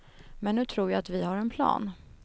Men nu tror jag att vi har en plan.